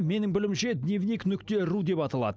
менің білуімше дневник нүкте ру деп аталады